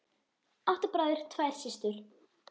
Átta bræður, tvær systur.